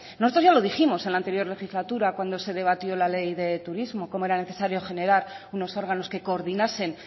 nosotras ya lo dijimos en la anterior legislatura cuando se debatió la ley de turismo cómo era necesario generar unos órganos que coordinasen